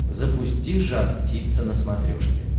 запусти жар птица на смотрешке